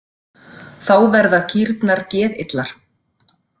Þá verða kýrnar geðillar.